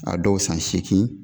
A dɔw san seegin